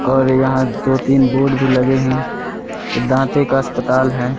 और यहां दो तीन बोर्ड भी लगे हैं दाते का अस्पताल है।